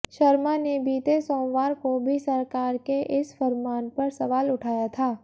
शर्मा ने बीते सोमवार को भी सरकार के इस फरमान पर सवाल उठाया था